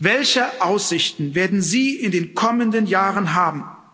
Welche Aussichten werden sie in den kommenden Jahren haben?